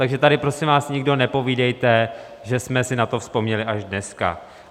Takže tady prosím vás nikdo nepovídejte, že jsme si na to vzpomněli až dneska.